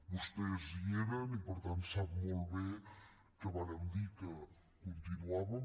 vostès hi eren i per tant sap molt bé que vàrem dir que continuàvem